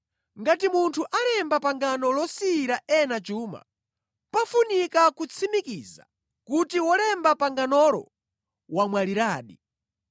Ngati munthu alemba pangano losiyira ena chuma, pafunika kutsimikiza kuti wolemba panganolo wamwaliradi,